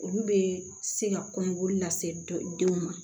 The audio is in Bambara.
Olu bɛ se ka kɔnɔboli lase denw ma